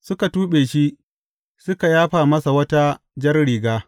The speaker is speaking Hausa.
Suka tuɓe shi, suka yafa masa wata jar riga.